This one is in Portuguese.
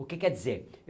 O que quer dizer?